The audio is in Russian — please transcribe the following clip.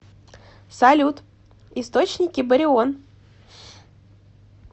салют источники барион